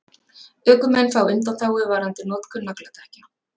Ökumenn fá undanþágu varðandi notkun nagladekkja